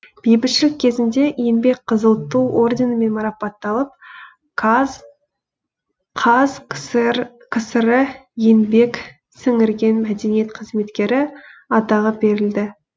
бейбітшілік кезінде еңбек қызыл ту орденімен марапатталып қазкср еңбек сіңірген мәдениет қызметкері атағы берілді